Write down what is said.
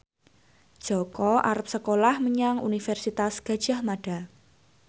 Jaka arep sekolah menyang Universitas Gadjah Mada